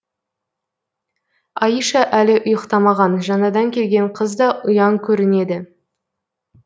аиша әлі ұйықтамаған жаңадан келген қыз да ұяң көрінеді